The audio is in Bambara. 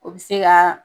O bɛ se ka